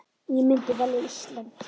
Ég myndi velja Ísland.